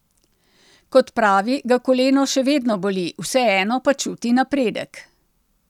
Kot pravi, ga koleno še vedno boli, vseeno pa čuti napredek.